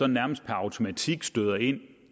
nærmest per automatik støder ind